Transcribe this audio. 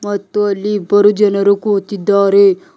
ಮತ್ತು ಅಲ್ಲಿ ಇಬ್ಬರು ಜನರು ಕೂತಿದ್ದಾರೆ.